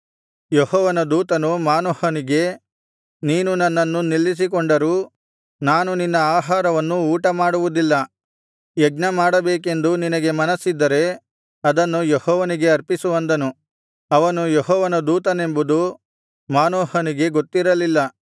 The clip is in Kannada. ಯೆಹೋವನ ದೂತನು ಮಾನೋಹನಿಗೆ ನೀನು ನನ್ನನ್ನು ನಿಲ್ಲಿಸಿಕೊಂಡರೂ ನಾನು ನಿನ್ನ ಆಹಾರವನ್ನು ಊಟಮಾಡುವುದಿಲ್ಲ ಯಜ್ಞಮಾಡಬೇಕೆಂದು ನಿನಗೆ ಮನಸ್ಸಿದ್ದರೆ ಅದನ್ನು ಯೆಹೋವನಿಗೆ ಸಮರ್ಪಿಸು ಅಂದನು ಅವನು ಯೆಹೋವನ ದೂತನೆಂಬುದು ಮಾನೋಹನಿಗೆ ಗೊತ್ತಿರಲಿಲ್ಲ